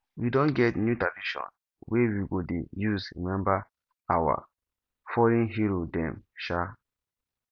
we don get new tradition wey we go dey use rememba our fallen hero dem um